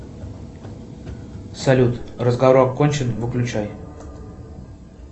салют разговор окончен выключай